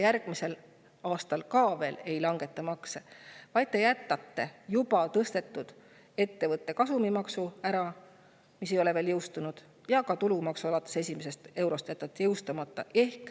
Järgmisel aastal te ka veel makse ei langeta, vaid jätate ära ettevõtte kasumimaksu, mis ei ole veel jõustunud, ja jätate jõustamata tulumaksu alates esimesest eurost.